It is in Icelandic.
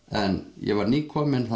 en ég var nýkominn